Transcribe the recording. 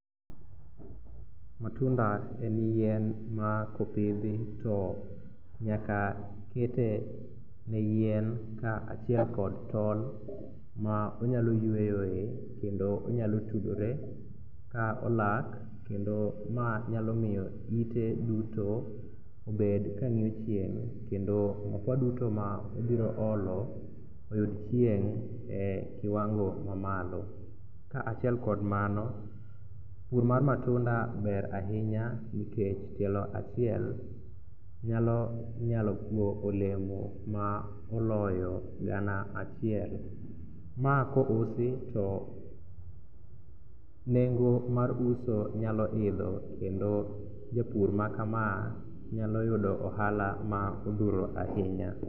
Matunda en yien ma kopidhi to nyaka kete ne yien kaachiel kod tol ma onyalo yweyoe kendo onyalotudore ka olak kendo ma nyalo miyo ite duto obed kang'iyo chieng' kendo mafua duto ma obiro olo oyud chieng' e kiwango mamalo. Kaachiel kod mano, pur mar matunda ber ahinya nikech tielo achiel nyalo chiwo olemo ma oloyo gana achiel. Ma kousi to nengo mar uso nyalo idho kendo japur makama nyalo yudo ohala ma odhuro ahinya.